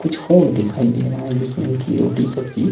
कुछ फूड दिखाई दे रहा है। जिसमें की रोटी सब्जी--